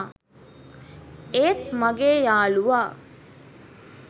ඒත් මගේ යාලුවා